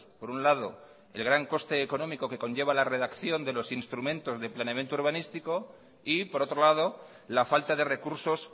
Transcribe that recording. por un lado el gran coste económico que conlleva la redacción de los instrumentos de planeamiento urbanístico y por otro lado la falta de recursos